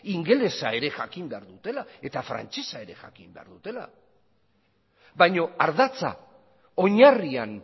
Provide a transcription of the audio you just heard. ingelesa ere jakin behar dutela eta frantsesa ere jakin behar dutela baina ardatza oinarrian